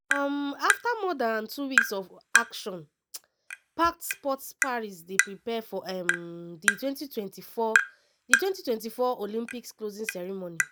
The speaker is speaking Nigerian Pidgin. um afta more dan two weeks of action-packed sport paris dey prepare for um di 2024 di 2024 olympics closing ceremony.